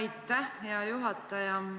Aitäh, hea juhataja!